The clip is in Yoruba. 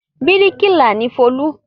Bíríkìlà ni Folú.